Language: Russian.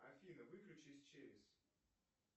афина выключись через